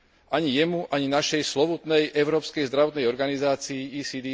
Ani jemu, ani našej slovutnej európskej zdravotnej organizácii ECDC.